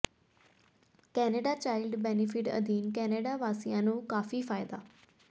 Canada child benefit ਅਧੀਨ Canada ਵਾਸੀਆਂ ਨੂੰ ਕਾਫ਼ੀ ਫਾਇਦਾ